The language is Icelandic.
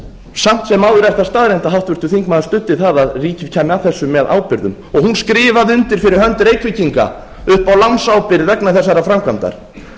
samt sem áður er það staðreynd að háttvirtur þingmaður studdi það að ríkið kæmi að þessu með ábyrgðum og hún skrifaði undir fyrir hönd reykvíkinga upp á lánsábyrgð vegna þessarar framkvæmdar